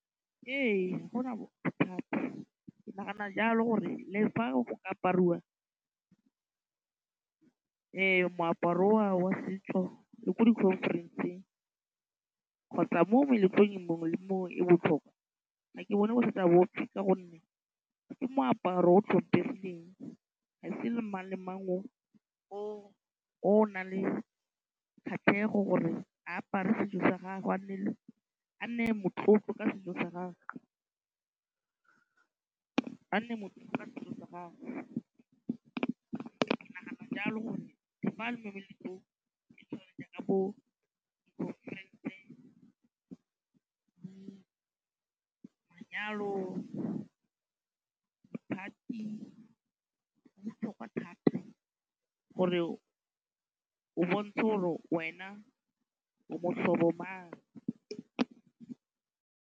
Ee ga go na bothata ke nagana jalo gore le fa go ka apariwa moaparo o wa setso le ko di-conference-eng kgotsa mo meletlong mongwe le mongwe e botlhokwa ga ke bone gore ka gonne ke moaparo o tlhompegileng ga e se mang le mang o o nang le kgatlhego gore a apare setso sa gago a nne motlotlo ka setso sa gagwe. Ke nagana jalo gore bo di-conference, manyalo, di-party go botlhokwa thata gore o bontshe gore wena o motlhobo mang.